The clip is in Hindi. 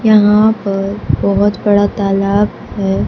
यहां पर बहोत बड़ा तालाब है।